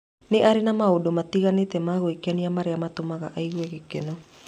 Nĩ arĩ na maũndũ matiganĩte ma gwĩkenia marĩa matũmaga aigue gĩkeno.